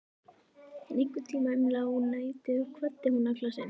En einhvern tíma um lágnættið kvaddi hún Alla sinn.